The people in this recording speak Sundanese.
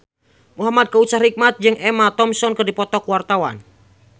Muhamad Kautsar Hikmat jeung Emma Thompson keur dipoto ku wartawan